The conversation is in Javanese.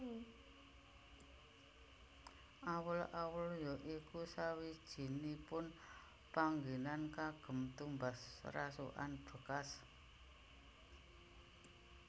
Awul awul ya iku sawijinipun panggenan kagem tumbas rasukan bekas